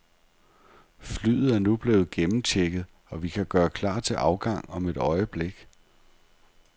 Flyet er nu blevet gennemchecket, og vi kan gøre klar til afgang om et øjeblik.